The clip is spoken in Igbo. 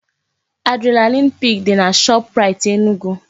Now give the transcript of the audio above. Adrenalin pik dị na Shoprite Enugu